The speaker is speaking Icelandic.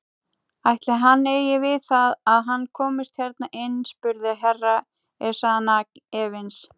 Ætli hann eigi við það að hann komist hérna inn spurði Herra Ezana efins.